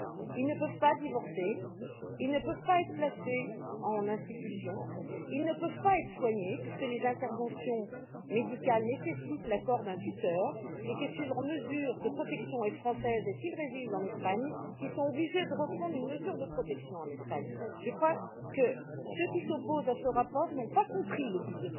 Ils ne peuvent pas divorcer, ils ne peuvent pas être placés en institution, ils ne peuvent pas être soignés puisque les interventions médicales nécessitent l'accord d'un tuteur, et si leur mesure de protection est française et qu'ils résident en Espagne, ils sont obligés de reprendre une mesure de protection en Espagne. Je crois que ceux qui s'opposent à ce rapport n'ont pas compris son but.